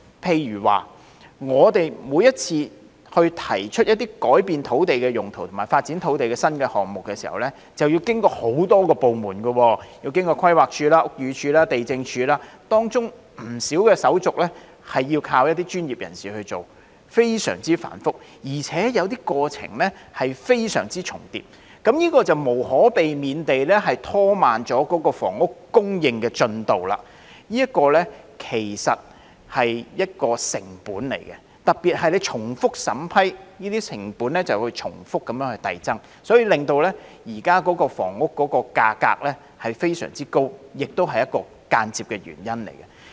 譬如說，我們每次提出建議改變土地用途及發展土地新項目時均要經過很多部門如規劃署、屋宇署及地政總署，當中有不少手續要靠一些專業人士來處理，非常繁複，而且有些過程重疊，這便無可避免地拖慢了房屋供應進度，這其實是一個成本，特別是當局重複審批，這些成本便會重複遞增，因而令現時房屋價格非常高，這亦是一個間接的原因。